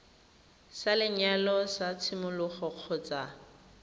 sa lenyalo sa tshimologo kgotsa